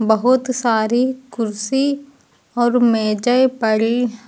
बहुत सारी कुर्सी और मेजे पड़ी--